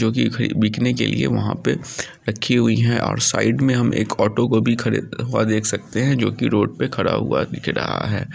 जो कि बिकने के लिए वहाँ पर रखी हुई है और साइड में हम एक ऑटो को भी खड़े हुआ देख सकते है जो की रोड पर खड़ा हुआ दिख रहा है।